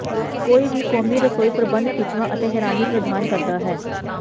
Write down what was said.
ਕੋਈ ਵੀ ਕੌਮੀ ਰਸੋਈ ਪ੍ਰਬੰਧ ਖਿੱਚਵਾਂ ਅਤੇ ਹੈਰਾਨੀ ਪ੍ਰਦਾਨ ਕਰਦਾ ਹੈ